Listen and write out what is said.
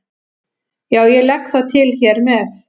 Já, ég legg það til hér með.